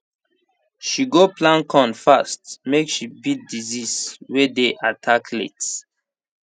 she go plant corn fast make she beat disease way dey attack late